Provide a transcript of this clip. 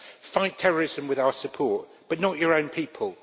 Fight terrorism with our support, but not your own people.